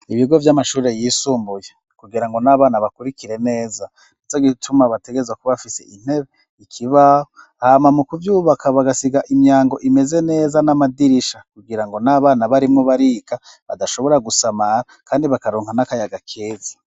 Ibigo vy'amashurre yisumbuye kugira ngo n'abana bakurikire neza nezo gituma bategezwa kubafise intebe ikibaho hama mu kuvyubaka bagasiga imyango imeze neza n'amadirisha kugira ngo n'abana barimwo barika badashobora gusamara, kandi bakaronka n'akayaga keza.